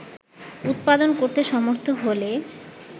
উৎপাদন করতে সমর্থ হলে